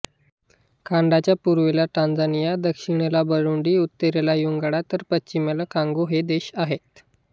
रवांडाच्या पूर्वेला टांझानिया दक्षिणेला बुरुंडी उत्तरेला युगांडा तर पश्चिमेला कॉंगो हे देश आहेत